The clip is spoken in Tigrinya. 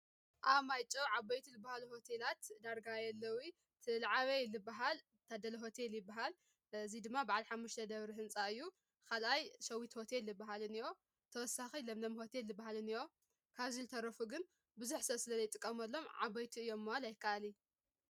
ኣብ ማይጨው ዓበይት ዝበሃሉ ሆቴላት ዳርጋ የለውን እቲ ዝዓበይ ዝባሃል ታደለ ሆቴል ይባሃል። እዚ ድማ ባዓልሓሙሽተ ደብሪ ሕንፃ እዩ። ካልኣይ ሸዊት ሆቴል ዝባሃል እንሆ ተወሳኪ ለምለም ሆቴል ዝባሃል እንሆ ካብዚ ዝተረፉ ግን ብዙሕ ሰብ ስለ ዘይጥቀምሎም ዓበይቲ እዮም ንምባል ኣይካኣልን።